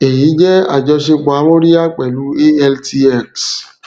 èyí jẹ àjọṣepọ amóríyá pẹlú altx